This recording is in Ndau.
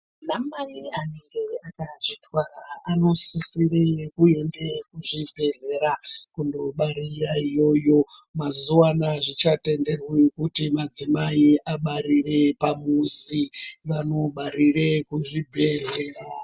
Anamai anenge akazvitwara anosise kuende kuchibhedhlera kundobarira iyoyo. Mazuva ano azvichatenderwi kuti madzimai abarire pamuzi, vanobarire kuzvibhedhlera.